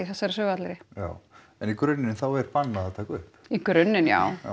þessari sögu allri já en í grunninn þá er bannað að taka upp í grunninn já